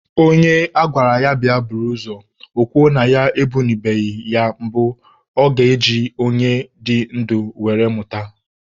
Onye agwara ya bịa buru ozu, o kwuo na ya ebunubeghị ya mbụ, ọ ga-eji onye dị ndụ were mụta?